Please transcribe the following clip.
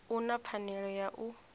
u na pfanelo ya u